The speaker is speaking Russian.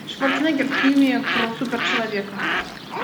шварценеггер в фильме про супер человека